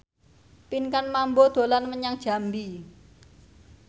Pinkan Mambo dolan menyang Jambi